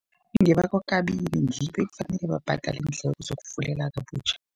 Iye, bakwaKabini ngibo ekufanele bhadale iindleko zokufulela kabutjha.